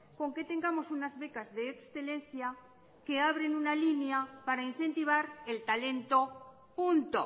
con que tengamos unas becas de excelencia que abren una línea para incentivar el talento punto